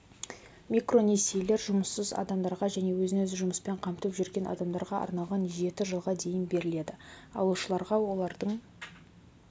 микронесиелер жұмыссыз адамдарға және өзін-өзі жұмыспен қамтып жүрген адамдарға арналған жеті жылға дейін беріледі алушыларға олардың